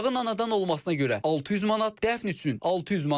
Uşağın anadan olmasına görə 600 manat, dəfn üçün 600 manat.